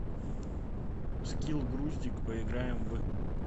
скилл груздик поиграем в